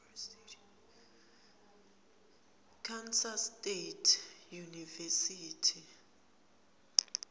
kansas state university